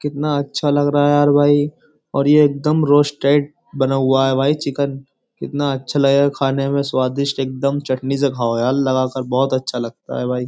कितना अच्छा लग रहा है यार भाई और ये एकदम रोस्टेड बना हुवा है। भाई चिकन कितना अच्छा लग रहा है। खाने में स्वादिष्ट एकदम चटनी से खाओ यार लगाकर बोहोत अच्छा लगता है भाई।